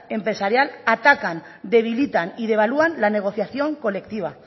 empresarial atacan debilitan y devalúan la negociación colectiva